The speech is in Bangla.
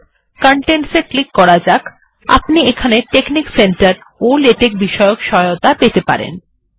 এখন help এ যাওয়া যাক contents এ ক্লিক করা যাক আপনি এখানে টেকনিক সেন্টার ও লেটেক বিষয়ে সহায়তা পেতে পারেন